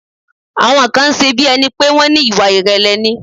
Àwọn kan ń ṣe bí ẹni pé wón ní Ìwà ìrèlè ni.